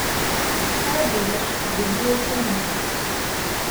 Ta delež želi ohraniti.